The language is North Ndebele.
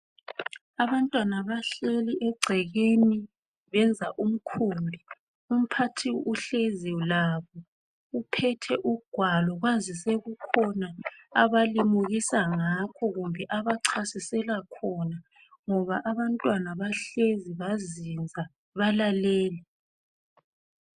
Abantwana bahleli egcekeni benza umkhumbi, umphathi uhlezi labo uphethe ugwalo kwazise kukhona abalimukisa ngakho kumbe abachasisela khona ngoba abantwana bahlezi bazinza balalele.